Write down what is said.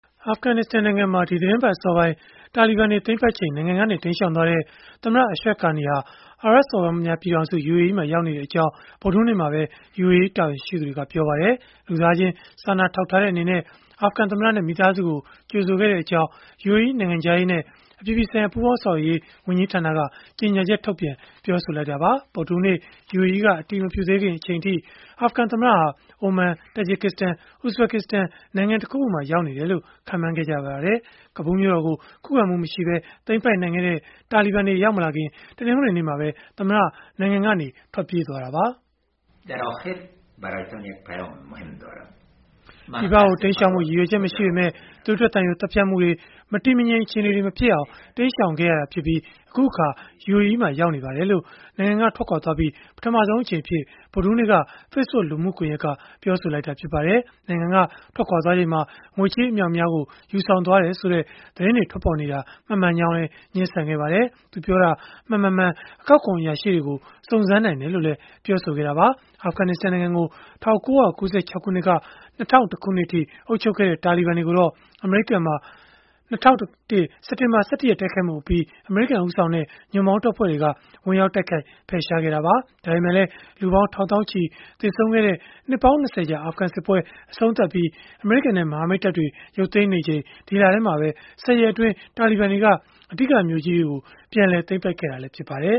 အာဖဂနစ္စတန်နိုင်ငံမှာ ဒီသီတင်းပတ် အစောပိုင်း တာလီဘန်တွေ သိမ်းပိုက်ချိန် နိုင်ငံကနေ တိမ်းရှောင်သွားတဲ့ သမ္မတ Ashraf Ghani ဟာ အာရပ်စော်ဘွားများ ပြည်ထောင်စု (UAE) မှာ ရောက်ရှိနေကြောင်း ဗုဒ္ဓဟူးနေ့မှာပဲ UAE တာဝန်ရှိသူတွေက ပြောပါတယ်။ လူသားချင်း စာနာထောက်ထားတဲ့အနေနဲ့ အာဖဂန်သမ္မတနဲ့ မိသားစုကို ကြိုဆိုခဲ့ကြောင်း UAE နိုင်ငံခြားရေးနဲ့ အပြည်ပြည်ဆိုင်ရာ ပူးပေါင်းဆောင်ရွက်ရေး ဝန်ကြီးဌာနက ကြေညာချက် ထုတ်ပြန်ပြောဆိုလိုက်တာပါ။ ဗုဒ္ဓဟူးနေ့ UAE က အတည်မပြုသေးခင် အချိန်အထိ အာဖဂန်သမ္မတဟာ အိုမန်၊ တာဂျစ်စတန်၊ ဥဇဘကစ္စတန်နိုင်ငံ တခုခုမှာ ရောက်နေတယ်လို့ ခန့်မှန်းခဲ့ကြပါတယ်။ ကဘူးမြို့တော်ကို ခုခံမှုမရှိပဲ သိမ်းပိုက်နိုင်ခဲ့တဲ့ တာလီဘန်တွေ ရောက်မလာခင် တနင်္ဂနွေနေ့မှာပဲ သမ္မတ နိုင်ငံကနေ ထွက်ပြေးသွားခဲ့တာပါ။ (Act. Ashraf Ghani ) “ပြည်ပကို တိမ်းရှောင်ဖို့ ရည်ရွယ်ချက် မရှိပေမဲ့ သွေးထွက်သံယို သတ်ဖြတ်မှုတွေ၊ မတည်မငြိမ် အခြေအနေတွေ မဖြစ်အောင် တိမ်းရှောင်ခဲ့ရပြီး၊ အခုအခါ UAE မှာ ရောက်နေပါတယ်။” လို့ နိုင်ငံက ထွက်ခွာသွားပြီးနောက် ပထမဆုံးအကြိမ်အဖြစ် ဗုဒ္ဓဟူးနေ့က Facebook လူမှုကွန်ရက်ကနေ ပြောဆိုလိုက်တာ ဖြစ်ပါတယ်။ နိုင်ငံက ထွက်ခွာချိန်မှာ ငွေကြေးအမြောက်အများ ယူဆောင်သွားတယ်ဆိုတဲ့ သတင်းတွေ ထွက်ပေါ်နေတာဟာ မမှန်ကြောင်းလည်း ငြင်းဆန်ခဲ့ပါတယ်။ သူပြောတာ မှန်၊ မမှန် အကောက်ခွန် အရာရှိတွေကို စုံစမ်းနိုင်တယ်လို့လည်း ပြောဆိုခဲ့တာပါ။ အာဖဂနစ္စတန်နိုင်ငံကို ၁၉၉၆ ခုနှစ်ကနေ ၂၀၀၁ ခုနှစ်အထိ အုပ်ချုပ်ခဲ့တဲ့ တာလီဘန်တွေကိုတော့ အမေရိကန်မှာ ၂၀၀၁ စက်တင်ဘာလ ၁၁ ရက် တိုက်ခိုက်မှုအပြီး အမေရိကန် ဦးဆောင်တဲ့ ညွန့်ပေါင်းတပ်ဖွဲ့တွေက ဝင်ရောက်တိုက်ခိုက် ဖယ်ရှားခဲ့တာပါ။ ဒါပေမဲ့လည်း လူပေါင်း ထောင်သောင်းချီ သေဆုံးခဲ့ရတဲ့ နှစ်ပေါင်း ၂၀ ကြာ အာဖဂန်စစ်ပွဲကို အဆုံးသတ်ပြီး အမေရိကန်နဲ့ မဟာမိတ်တပ်တွေ ရုပ်သိမ်းနေချိန် ဒီလထဲမှာပဲ ၁၀ ရက်အတွင်း တာလီဘန်တွေက အဓိကမြို့ကြီးတွေကို ပြန်လည်သိမ်းပိုက်ခဲ့တာ ဖြစ်ပါတယ်